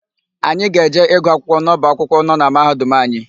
Anyị ga-eje ịgụ akwụkwọ n'ọba akwụkwọ nọ na Mahadum anyị.